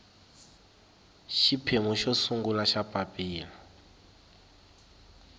xiphemu xo sungula xa papilla